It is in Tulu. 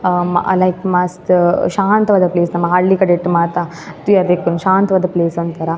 ಅಹ್ ಲೈಕ್ ಮಸ್ತ್ ಶಾಂತವಾದ ಪ್ಲೇಸ್ ನಮ ಹಳ್ಳಿ ಕಡೆಟ್ ಮಾತ ತೂವರೆ ತಿಕ್ಕುನು ಶಾಂತವಾದ ಪ್ಲೇಸ್ ಒಂತರ.